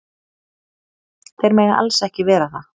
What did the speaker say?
Þeir mega alls ekki vera það.